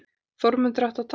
Þórmundur átti að taka